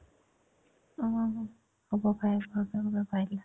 অ, হ'ব পাৰে গৰমে গৰমে ভৰাই দিলা